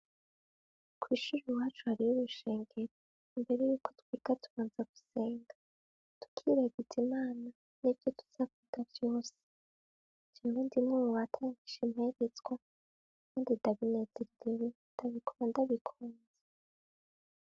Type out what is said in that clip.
Kw'ishije umuhacu hari y'ubushengero imbere yuko twiga tumaza gusenga dukiragiza imana ni vyo tuzavuga vyose vnwo ndimwe mu batangisha impegezwa, kandi dagnezi rewe itagikoma ndabikunze.